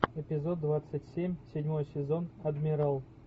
эпизод двадцать семь седьмой сезон адмирал